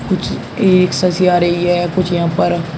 कुछ एक जैसी आ रही है कुछ यहां पर।